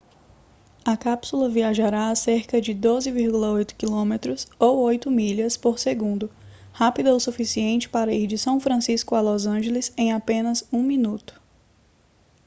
a cápsula viajará a cerca de 12,8 km ou 8 milhas por segundo rápida o suficiente para ir de são francisco a los angeles em apenas um minuto